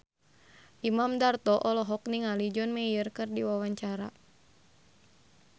Imam Darto olohok ningali John Mayer keur diwawancara